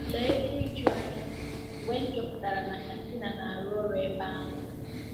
Lee ihe ijuanya mgbe m chọpụtara na Katina na-arụ ọrụ ebe ahụ!